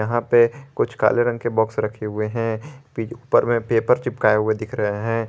यहां पे कुछ काले रंग के बॉक्स रखे हुए हैं ऊपर में पेपर चिपकाए हुए दिख रहे हैं।